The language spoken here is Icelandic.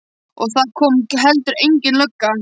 Og það kom heldur engin lögga.